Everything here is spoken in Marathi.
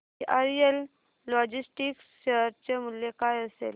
वीआरएल लॉजिस्टिक्स शेअर चे मूल्य काय असेल